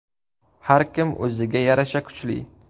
Har kim o‘ziga yarasha kuchli.